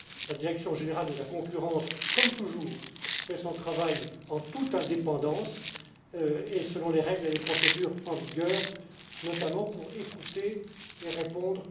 La direction générale de la concurrence, comme toujours, fait son travail en toute indépendance et selon les règles et les procédures en vigueur, notamment pour écouter tous les plaignants et leur répondre.